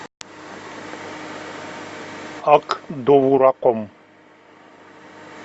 ак довураком